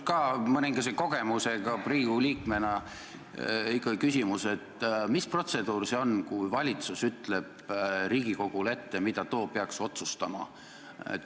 Minul mõningase kogemusega Riigikogu liikmena on ikka küsimus, et mis protseduur see on, kui valitsus ütleb Riigikogule ette, mida too peaks otsustama.